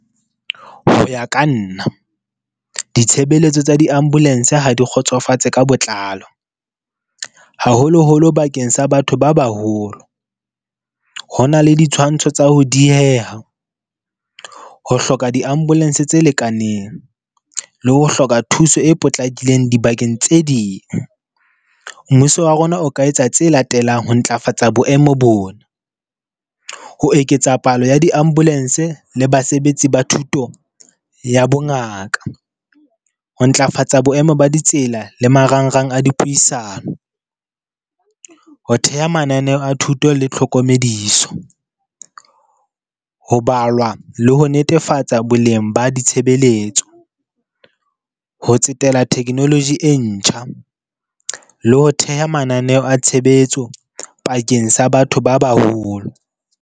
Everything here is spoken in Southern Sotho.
Ho ya ka nna, ditshebeletso tsa di-ambulance ha di kgotsofatse ka botlalo, haholoholo bakeng sa batho ba baholo. Ho na le ditshwantsho tsa ho dieha, ho hloka di-ambulance tse lekaneng le ho hloka thuso e potlakileng dibakeng tse ding. Mmuso wa rona o ka etsa tse latelang ho ntlafatsa boemo bona, ho eketsa palo ya di-ambulance le basebetsi ba thuto ya bongaka, ho ntlafatsa boemo ba ditsela le marangrang a dipuisano, ho theha mananeo a thuto le tlhokomediso, ho balwa le ho netefatsa boleng ba ditshebeletso, ho tsetela technology e ntjha le ho theha mananeho a tshebetso pakeng sa batho ba baholo.